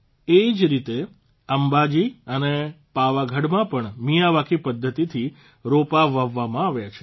એ જ રીતે અંબાજી અને પાવાગઢમાં પણ મિયાવાકી પદ્ધતિથી રોપા વાવવામાં આવ્યા છે